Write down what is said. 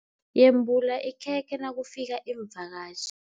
Yembula ikhekhe nakufika iimvakatjhi.